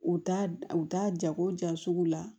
U t'a u t'a jago ja sugu la